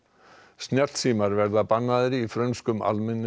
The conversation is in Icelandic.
snjallsímar verða bannaðir í frönskum